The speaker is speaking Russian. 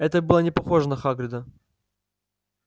это было не похоже на хагрида